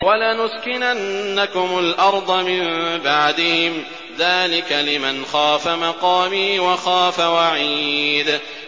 وَلَنُسْكِنَنَّكُمُ الْأَرْضَ مِن بَعْدِهِمْ ۚ ذَٰلِكَ لِمَنْ خَافَ مَقَامِي وَخَافَ وَعِيدِ